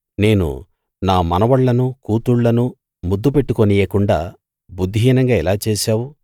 నేను నా మనవళ్ళనూ కూతుళ్ళనూ ముద్దు పెట్టుకోనియ్యకుండా బుద్ధిహీనంగా ఇలా చేశావు